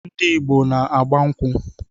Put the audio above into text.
Ndị Igbo n-agba nkwụ.